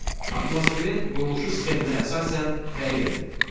Atmosferin quruluşu sxeminə əsasən təyin edin.